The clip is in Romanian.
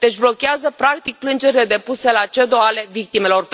Deci blochează, practic, plângerile depuse la CEDO ale victimelor.